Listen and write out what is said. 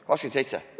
27?